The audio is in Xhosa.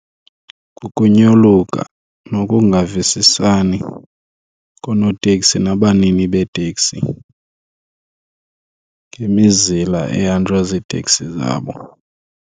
Kukunyoluka nokungavisisani koonoteksi nabanini beeteksi ngemizila ehanjwa ziiteksi zabo.